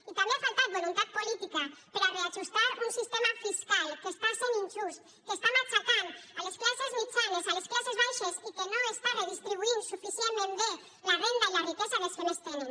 i també ha faltat voluntat política per a reajustar un sistema fiscal que és injust que matxaca les classes mitjanes les classes baixes i que no redistribuïx suficientment bé la renda i la riquesa dels que més tenen